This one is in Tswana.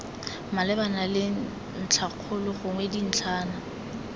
malebana le ntlhakgolo gongwe dintlhana